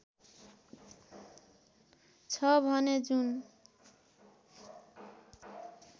छ भने जुन